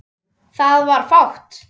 Það var fátt.